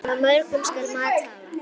Af mörgu skal mat hafa.